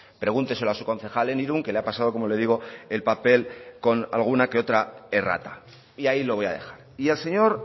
pregúnteselo a su concejal en irun que le ha pasado como le digo el papel con alguna que otra errata y ahí lo voy a dejar y al señor